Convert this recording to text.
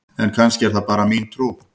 En kannski er það bara mín trú!?